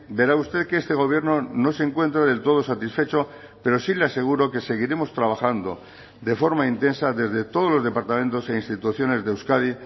verá usted que este gobierno no se encuentra del todo satisfecho pero sí le aseguro que seguiremos trabajando de forma intensa desde todos los departamentos e instituciones de euskadi